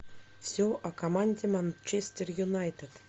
все о команде манчестер юнайтед